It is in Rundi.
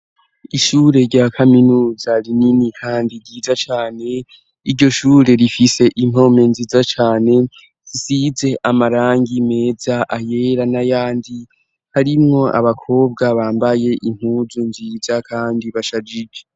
Ishure rya Kaminuza rinini kandi ryiza cane, iryo shure rifise impome nziza cane isize amarangi meza, ayera n'ayandi harimwo abakobwa bambaye impuzu nziza kandi bashajije.